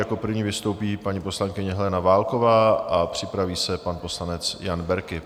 Jako první vystoupí paní poslankyně Helena Válková a připraví se pan poslanec Jan Berki.